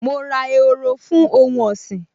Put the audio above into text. Mo ra ehoro fún ohun ọ̀sìn